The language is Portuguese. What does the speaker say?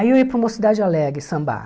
Aí eu ia para o Mocidade alegre sambar.